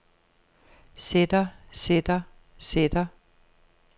sætter sætter sætter